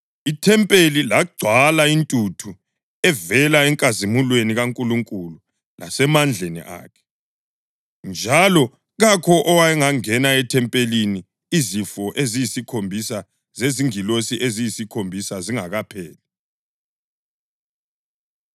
Ithempeli lagcwala intuthu evela enkazimulweni kaNkulunkulu lasemandleni akhe, njalo kakho owayengangena ethempelini izifo eziyisikhombisa zezingilosi eziyisikhombisa zingakapheli.